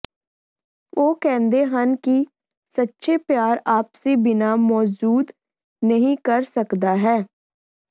ਉਹ ਕਹਿੰਦੇ ਹਨ ਕਿ ਸੱਚੇ ਪਿਆਰ ਆਪਸੀ ਬਿਨਾ ਮੌਜੂਦ ਨਹੀ ਕਰ ਸਕਦਾ ਹੈ